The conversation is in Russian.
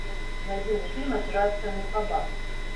найди мне фильм операция мухаббат